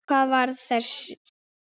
Hvar er varða þessi?